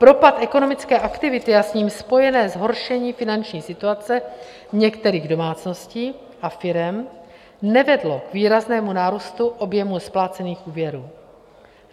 Propad ekonomické aktivity a s ním spojené zhoršení finanční situace některých domácností a firem nevedl k výraznému nárůstu objemu splácených úvěrů.